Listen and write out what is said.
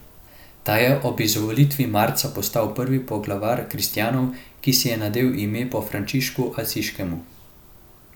Ta je ob izvolitvi marca postal prvi poglavar kristjanov, ki si je nadel ime po Frančišku Asiškem.